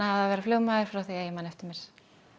að vera flugmaður frá því ég man eftir mér